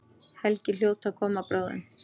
Helgi hljóta að koma bráðum.